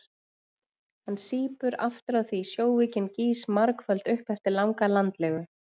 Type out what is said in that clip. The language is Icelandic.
Hann sýpur aftur á því sjóveikin gýs margföld upp eftir langa landlegu.